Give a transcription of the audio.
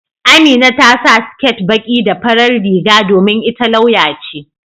Amina ta sa siket baƙi da farar riga domin ita lauya ce.